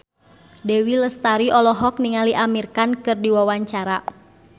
Dewi Lestari olohok ningali Amir Khan keur diwawancara